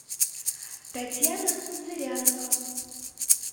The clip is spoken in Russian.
татьяна зырянова